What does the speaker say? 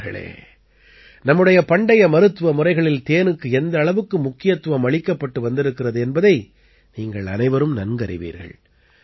நண்பர்களே நம்முடைய பண்டைய மருத்துவ முறைகளில் தேனுக்கு எந்த அளவுக்கு முக்கியத்துவம் அளிக்கப்பட்டு வந்திருக்கிறது என்பதை நீங்கள் அனைவரும் நன்கறிவீர்கள்